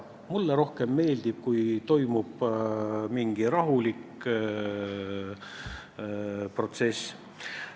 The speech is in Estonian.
Mulle meeldib rohkem see, kui toimub mingi rahulik protsess.